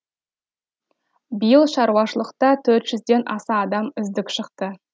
биыл шаруашылықта төрт жүзден аса адам үздік шықты